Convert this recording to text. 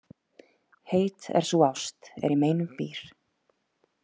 Heit er sú ást er í meinum býr.